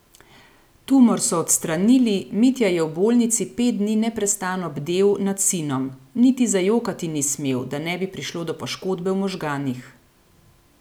Tumor so odstranili, Mitja je v bolnici pet dni neprestano bdel nad sinom: 'Niti zajokati ni smel, da ne bi prišlo do poškodbe v možganih.